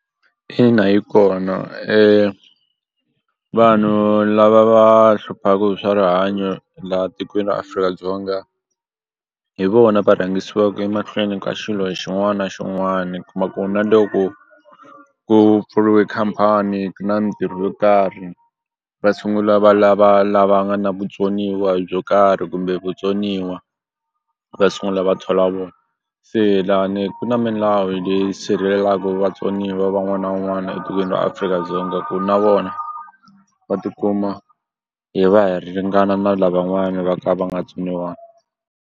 Ina yi kona vanhu lava va hluphaku hi swa rihanyo laha tikweni ra Afrika-Dzonga hi vona va rhangisiwaku emahlweni ka xilo xin'wani na xin'wani u kuma ku na loko ku pfuriwe khampani na mitirho yo karhi va sungula va lava la va nga na vutsoniwa byo karhi kumbe vutsoniwa va sungula va thola vona se la ni ku na milawu leyi sirhelelaku vatsoniwa van'wana na van'wani etikweni ra Afrika-Dzonga ku na vona va tikuma hi va hi ri ringana na lavan'wani va ka va nga .